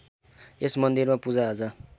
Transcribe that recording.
यस मन्दिरमा पूजाआजा